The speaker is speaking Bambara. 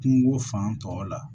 Kungo fan tɔw la